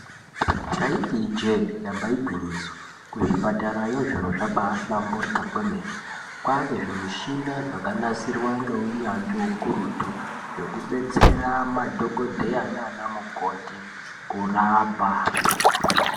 Ndaiti ijee, damba igwinyiso, kuzvipatarayo zviro kwabaahlamburika kwemene. Kwaane zvimushina zvakanasirwa ngeunyanzvi ukurutu, zvekubetsera madhokodheya naanamukoti kurapa.